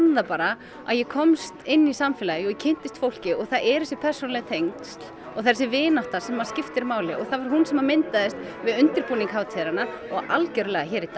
það bara að ég komst inn í samfélagið og ég kynntist fólki og það eru þessi persónulegu tengsl og þessi vinátta sem skiptir máli og það var hún sem myndaðist við undirbúning hátíðarinnar og algjörlega hér í dag